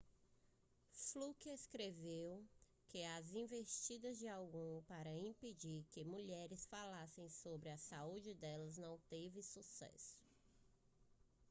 fluke escreveu que as investidas de alguns para impedir que as mulheres falassem sobre a saúde delas não teve sucesso